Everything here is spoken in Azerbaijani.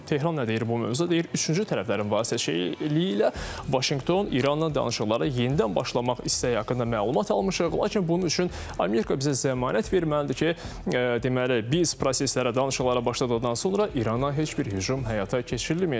Tehran nə deyir bu mövzuda, deyir üçüncü tərəflərin vasitəçiliyi ilə Vaşinqton İranla danışıqlara yenidən başlamaq istəyi haqqında məlumat almışıq, lakin bunun üçün Amerika bizə zəmanət verməlidir ki, deməli, biz proseslərə, danışıqlara başladıqdan sonra İrana heç bir hücum həyata keçirilməyəcək.